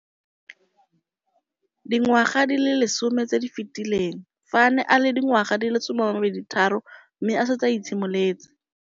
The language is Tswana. Dingwaga di le 10 tse di fetileng, fa a ne a le dingwaga di le 23 mme a setse a itshimoletse